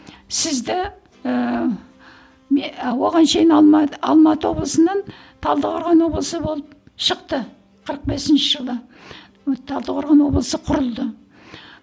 сізді ііі оған шейін алматы облысынан талдықорған облысы болып шықты қырық бесінші жылы талдықорған облысы құрылды